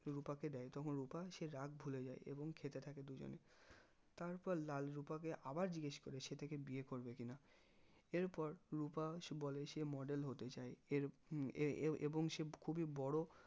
রুপাকে দেয় তখন রুপা সেই রাগ ভুলে যাই এবং খেতে থাকে দুজনেই তারপর লাল রুপাকে আবার জিজ্ঞেস করে সে তাকে বিয়ে করবে কি না এরপর রুপা সে বলে সে model হতে চাই এর উহ এ এ এবং সে খুবই বড়ো